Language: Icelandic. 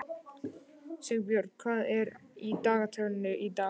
Sigbjörn, hvað er í dagatalinu í dag?